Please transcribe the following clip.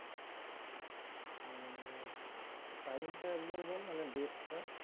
time টা একবার বল মানে date টা?